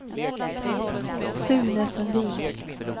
Sune Sundin